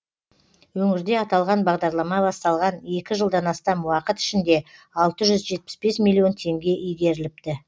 өңірде аталған бағдарлама басталған екі жылдан астам уақыт ішінде алты жүз жетпіс бес миллион теңге игеріліпті